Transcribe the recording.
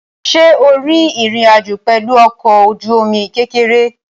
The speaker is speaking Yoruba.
Ṣé o rin ìrìn àjò pẹ̀lú ọkọ̀-ojúomi kékeré?